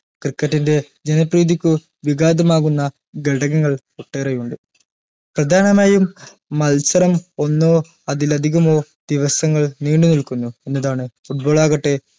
cricket ൻറെ ജനപ്രീതിക്ക് വിഗാധ മാകുന്ന ഘടകങ്ങൾ ഒട്ടേറെയുണ്ട് പ്രധാനമായും അതിലധിവകമോ ദിവങ്ങൾ നീണ്ടു നിൽക്കുന്നു എന്നതാണ് foot ball ആകട്ടെ